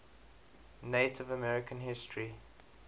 native american history